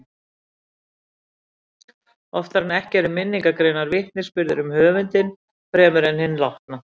Oftar en ekki eru minningargreinar vitnisburður um höfundinn fremur en hinn látna.